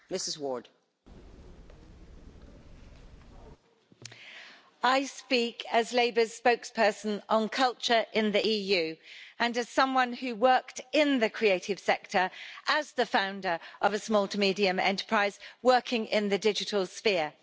Madam President, I speak as Labour's spokesperson on culture in the EU, and as someone who worked in the creative sector as the founder of a small to medium enterprise working in the digital sphere.